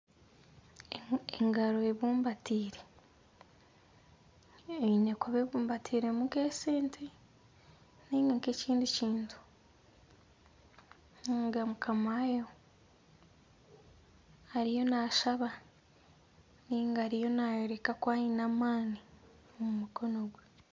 Engaro ebumbatiire, eine kuba ebumbatiiremu nk'esente. nainga nk'ekindi kintu. Ndeeba mukama waayo ariyo naashaba nainga ariyo naayoreka ku aine amaani omu mukono gwe.